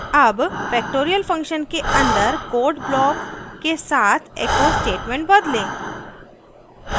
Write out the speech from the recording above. अब factorial function के अंदर code block के साथ echo statement बदलें